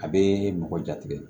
A bɛ mɔgɔ jatigɛ